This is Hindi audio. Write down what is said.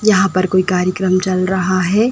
यहां पर कोई कार्यक्रम चल रहा है |